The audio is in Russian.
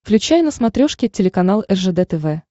включай на смотрешке телеканал ржд тв